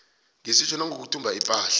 ngesetjho nangokuthumba ipahla